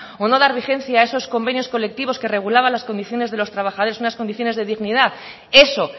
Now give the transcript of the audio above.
o no dar vigencia a esos convenios colectivos que regulaban las condiciones de los trabajadores unas condiciones de dignidad eso